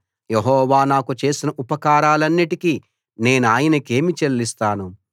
యెహోవా నాకు చేసిన ఉపకారాలన్నిటికీ నేనాయనకేమి చెల్లిస్తాను